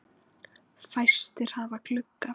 Vertu léttur. og töff!